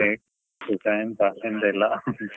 ಎಂತಾ ಎಂತ ಇಲ್ಲಾ .